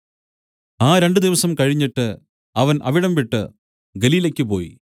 ആ രണ്ടു ദിവസം കഴിഞ്ഞിട്ട് അവൻ അവിടംവിട്ട് ഗലീലയ്ക്കു് പോയി